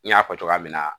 N y'a fɔ cogoya min na